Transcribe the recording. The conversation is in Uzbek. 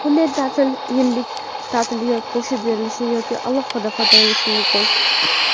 Bunday ta’til yillik ta’tilga qo‘shib berilishi yoki alohida foydalanilishi mumkin.